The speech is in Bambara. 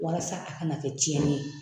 Walasa a kana kɛ tiɲɛni ye